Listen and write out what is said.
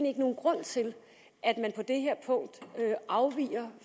ikke nogen grund til at man på det her punkt afviger